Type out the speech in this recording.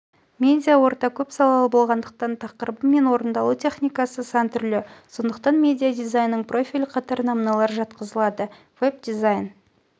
медиаорта көпсалалы болғандықтан тақырыбы мен орындалу техникасы сан түрлі сондықтан медиадизайнның профильді қатарына мыналар жатқызылады веб-дизайн